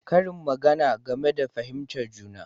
Karin magana game da fahimtar juna